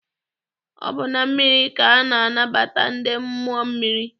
Ọ bụ na mmiri ka a na-anabata ndị mmụọ mmiri.